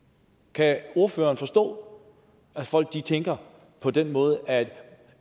kan ordføreren forstå at folk tænker på den måde at